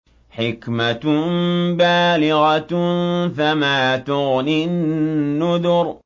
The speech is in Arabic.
حِكْمَةٌ بَالِغَةٌ ۖ فَمَا تُغْنِ النُّذُرُ